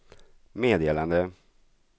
meddelande